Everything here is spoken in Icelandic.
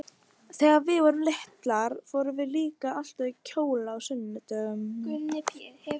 Þegar við vorum litlar fórum við líka alltaf í kjóla á sunnudögum.